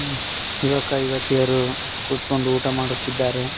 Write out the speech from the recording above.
ಯುವಕ ಯುವತಿಯರು ಕುತ್ಕೊಂಡು ಊಟ ಮಾಡ್ತಾ ಇದ್ದಾರೆ.